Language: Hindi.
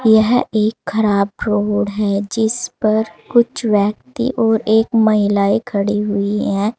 यह एक खराब रोड है जिस पर कुछ व्यक्ति और एक महिलाएं खड़ी हुई हैं।